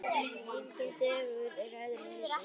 Enginn dagur öðrum líkur.